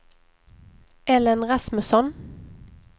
Ellen Rasmusson